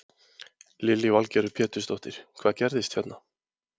Lillý Valgerður Pétursdóttir: Hvað gerðist hérna?